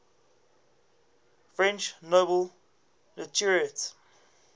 french nobel laureates